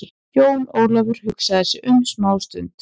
Jón Ólafur hugsaði sig um smá stund.